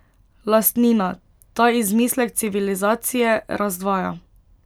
Lastnina, ta izmislek civilizacije, razdvaja.